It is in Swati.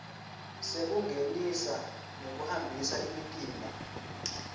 sekungenisa nekuhambisa imitimba